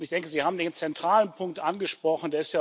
Ich denke, Sie haben den zentralen Punkt angesprochen